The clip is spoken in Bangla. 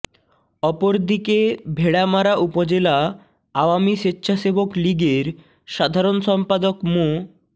অপরদিকে ভেড়ামারা উপজেলা আওয়ামী স্বেচ্ছাসেবক লীগের সাধারণ সম্পাদক মো